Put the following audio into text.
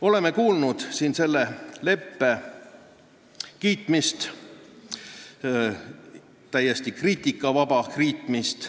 Oleme kuulnud siin selle leppe täiesti kriitikavaba kiitmist.